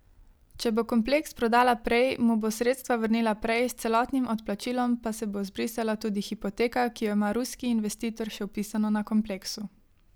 Če bo kompleks prodala prej, mu bo sredstva vrnila prej, s celotnim odplačilom pa se bo zbrisala tudi hipoteka, ki jo ima ruski investitor še vpisano na kompleksu.